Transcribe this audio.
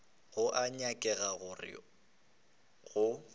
go a nyakega gore go